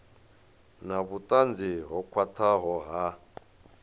na vhutanzi ho khwathaho ha